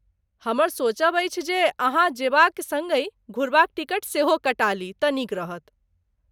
हमर सोचब अछि, जे अहाँ जेबाक सङ्गहि घुरबाक टिकट सेहो कटा ली तँ नीक रहत।